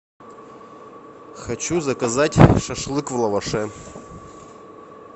хочу заказать шашлык в лаваше